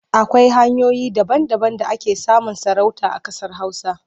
Akwai hanyoyi daba-daban da ake samun sarauta a ƙasar Hausa.